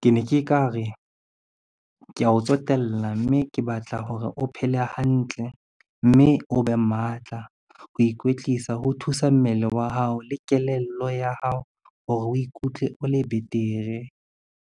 Ke ne ke ka re, kea o tsotella mme ke batla hore o phele hantle mme o be matla. Ho ikwetlisa ho thusa mmele wa hao le kelello ya hao hore o ikutlwe o le betere.